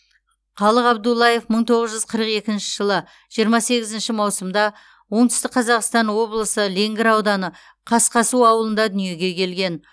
қалық абдуллаев мың тоғыз жүз қырық екінші жылы жиырма сегізінші маусымда оңтүстік қазақстан облысы ленгір ауданы қасқасу ауылында дүниеге келген